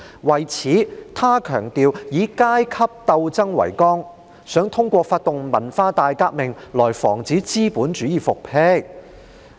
為此，他強調以階級鬥爭為綱，想通過發動文化大革命來防止資本主義復辟。